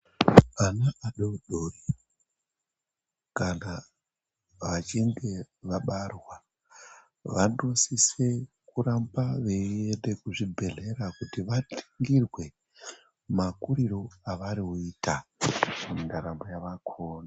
Ana adodori kama vachinge vabarwa vanosise kuramba veienda kuzvibhehlera kuti varingirwe makuriro avanoita mundaramo yakona.